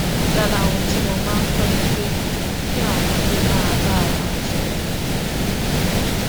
lára ohun tí mo máa ń kó ni pé kí àwọn ọmọdé máa bá ara wọn sòrò